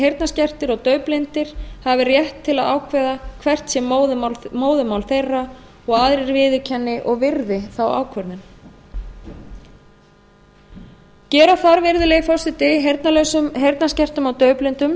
heyrnarskertir og daufblindir hafi rétt til að ákveða hvert sé móðurmál þeirra og aðrir viðurkenni og virði þá ákvörðun gera þarf virðulegi forseti heyrnarlausum heyrnarskertum og daufblindum